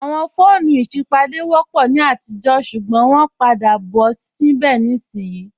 Awọn foonu isipádé wọ́pọ̀ ni atijọ̀ ṣugbọn wọn pa dà bọ̀ nibẹ̀dé ìṣin.